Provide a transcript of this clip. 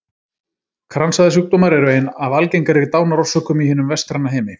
Kransæðasjúkdómar eru ein af algengari dánarorsökum í hinum vestræna heimi.